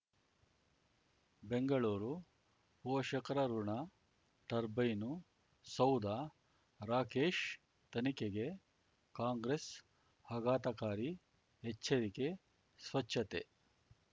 ಬೆಂಗಳೂರು ಪೋಷಕರಋಣ ಟರ್ಬೈನು ಸೌಧ ರಾಕೇಶ್ ತನಿಖೆಗೆ ಕಾಂಗ್ರೆಸ್ ಆಘಾತಕಾರಿ ಎಚ್ಚರಿಕೆ ಸ್ವಚ್ಛತೆ